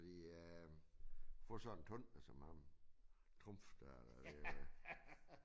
Fordi øh få sådan en tumpe som ham Trumpf dér det øh